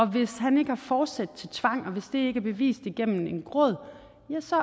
hvis han ikke har forsæt til tvang og hvis det ikke er bevist igennem en gråd ja så